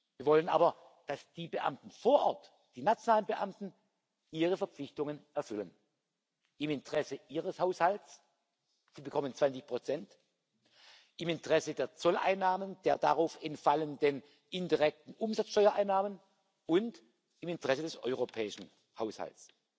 Wir wollen aber, dass die Beamten vor Ort, die nationalen Beamten, ihre Verpflichtungen erfüllen, im Interesse ihres Haushalts sie bekommen 20 im Interesse der Zolleinnahmen, der darauf entfallenden indirekten Umsatzsteuereinnahmen und im Interesse des europäischen Haushalts.